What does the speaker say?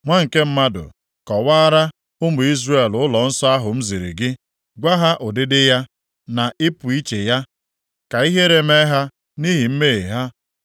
“Nwa nke mmadụ, kọwaara ụmụ Izrel ụlọnsọ ahụ m ziri gị. Gwa ha ụdịdị ya, na ịpụ iche ya, ka ihere mee ha nʼihi mmehie ha.